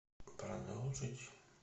продолжить